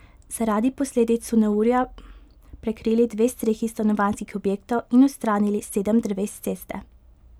Zaradi posledic so neurja prekrili dve strehi stanovanjskih objektov in odstranili sedem dreves s ceste.